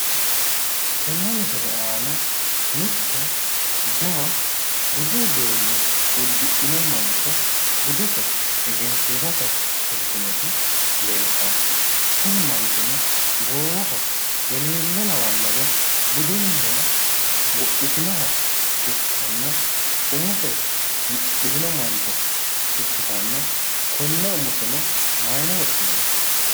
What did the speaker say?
Tenne misile aana mitte jawa budu uduunne uddidhino mancho budese egensiisate ofoltinoti leeltanno. Tini manchono goowaho eleelle lawannore budunniha wodhitinoha ikkanna umose mudhitino mancho ikkitanna konne umoseno mayine woshshinanni?